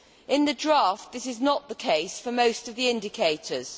In the draft, this is not the case for most of the indicators.